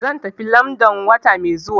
Zan tafi London wata mai zuwa.